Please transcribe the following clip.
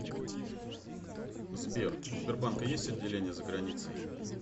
сбер у сбербанка есть отделения за границей